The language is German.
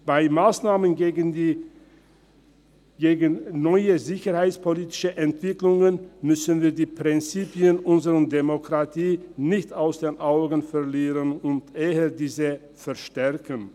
Bei Massnahmen gegen neue sicherheitspolitische Entwicklungen dürfen wir die Prinzipien unserer Demokratie nicht aus den Augen verlieren, sondern diese eher stärken.